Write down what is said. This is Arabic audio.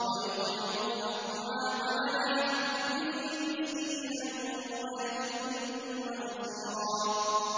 وَيُطْعِمُونَ الطَّعَامَ عَلَىٰ حُبِّهِ مِسْكِينًا وَيَتِيمًا وَأَسِيرًا